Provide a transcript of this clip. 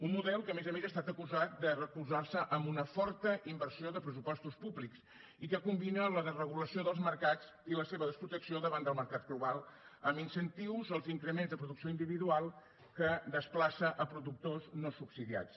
un model que a més a més ha estat acusat de recolzarse en una forta inversió de pressupostos públics i que combina la desregulació dels mercats i la seva desprotecció davant del mercat globals amb incentius als increments de producció individual que desplaça a productors no subsidiats